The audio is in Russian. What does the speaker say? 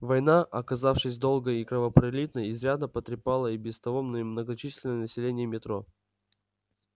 война оказавшись долгой и кровопролитной изрядно потрепала и без того немногочисленное население метро